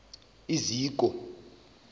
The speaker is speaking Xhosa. iziko